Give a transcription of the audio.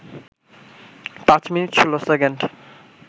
৫ minute ১৬ second